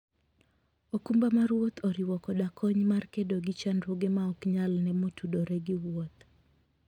okumba mar wuoth oriwo koda kony mar kedo gi chandruoge ma ok nyal ne motudore gi wuoth.